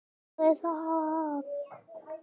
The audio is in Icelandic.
Þín Hanna Dögg.